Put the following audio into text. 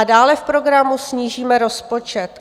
A dále v programu: snížíme rozpočet.